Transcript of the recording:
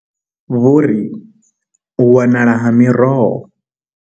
Vho ri u wanala ha miroho.